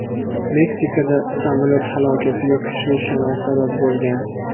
Meksikada samolyot halokatiga kuchli shamol sabab bo‘lgan.